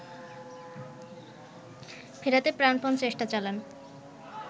ফেরাতে প্রাণপন চেষ্টা চালান